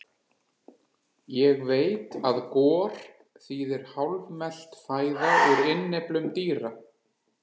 Ég veit að gor þýðir hálfmelt fæða úr innyflum dýra.